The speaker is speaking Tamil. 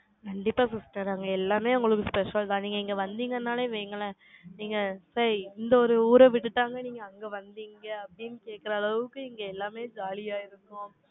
கண்டிப்பா sister. எல்லாமே உங்களுக்கு special தான். நீங்க இங்க வந்தீங்கன்னாலே வைங்களேன். நீங்க சரி, இந்த ஒரு ஊரை விட்டுட்டாங்க, நீங்க அங்க வந்தீங்க, அப்படின்னு கேட்கிற அளவுக்கு, இங்க எல்லாமே ஜாலியா இருக்கும்.